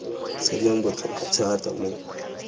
se leng botlhokwa thata mo